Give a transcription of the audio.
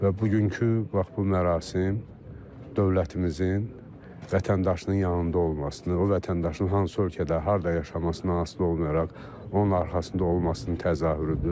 Və bugünkü bax bu mərasim dövlətimizin vətəndaşının yanında olmasını, o vətəndaşın hansı ölkədə, harda yaşamasından asılı olmayaraq, onun arxasında olmasını təzahürüdür.